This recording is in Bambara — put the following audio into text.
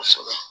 Kosɛbɛ